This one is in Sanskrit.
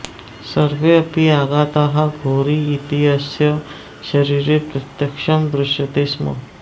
सर्वेऽपि आघाताः घोरी इत्यस्य शरीरे प्रत्यक्षं दृश्यते स्म